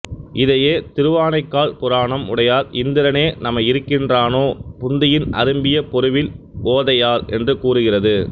இதையே திருவானைக்கால் புராணம் உடையார் இந்திரனே நமை இருக்கின்றானோ புந்தியின் அரும்பிய பொருவில் ஓதையார் என்று கூறுகிறது